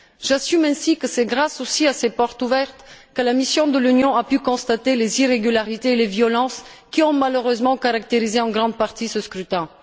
J'assume, ainsi, que c'est grâce aussi à ces portes ouvertes que la mission de l'Union a pu constater les irrégularités et les violences qui ont malheureusement caractérisé en grande partie ce scrutin.